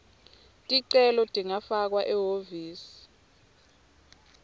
ticelo tingafakwa ehhovisi